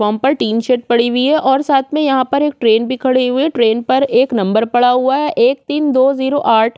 platform पर tin shed पड़ी हुई है और साथ में यहाँ पर एक ट्रैन भी खड़े हुए है ट्रैन पर एक नंबर पड़ा हुआ है एक तीन दो जीरो आठ--